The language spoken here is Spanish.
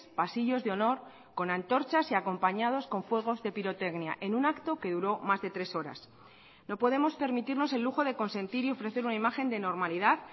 pasillos de honor con antorchas y acompañados con fuegos de pirotecnia en un acto que duró más de tres horas no podemos permitirnos el lujo de consentir y ofrecer una imagen de normalidad